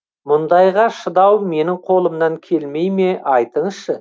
мұндайға шыдау менің қолымнан келмей ме айтыңызшы